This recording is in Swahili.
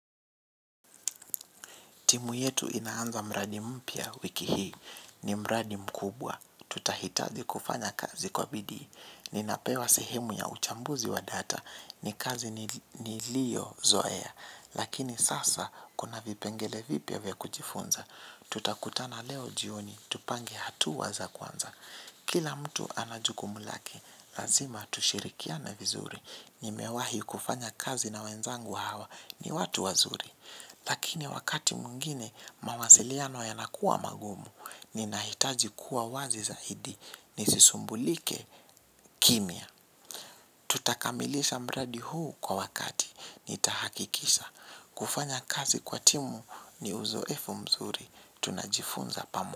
Timu yetu inaanza mradi mpia wiki hii ni mradi mkubwa. Tutahitaji kufanya kazi kwa bidii. Ninapewa sehemu ya uchambuzi wa data ni kazi niliozoea. Lakini sasa kuna vipengele vipia vya kujifunza. Tutakutana leo jioni, tupange hatuwa za kwanza. Kila mtu anajukumu lake, lazima tushirikiane vizuri. Nimewahi kufanya kazi na wenzangu hawa ni watu wazuri. Lakini wakati muingine mawasiliano yanakuwa magumu ninahitaji kuwa wazi zaidi ni sisumbulike kimia. Tutakamilisha mradi huu kwa wakati nitahakikisha. Kufanya kazi kwa timu ni uzoefu mzuri tunajifunza pamu.